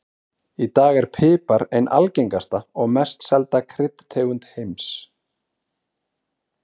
Í dag er pipar ein algengasta og mest selda kryddtegund heims.